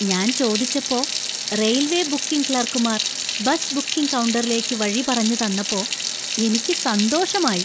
ഞാൻ ചോദിച്ചപ്പോ railway booking ക്ലർക്കുമാർ ബസ് ബുക്കിംഗ് കൗണ്ടറിലേക്ക് വഴി പറഞ്ഞു തന്നപ്പോ എനിക്ക് സന്തോഷമായി.